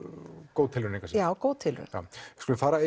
góð tilraun engu að síður já góð tilraun við skulum fara